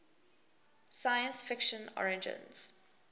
science fiction origins